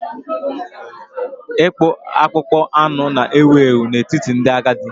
Ịkpụ akpụkpọ anụ na-ewu ewu n'etiti ndị agadi.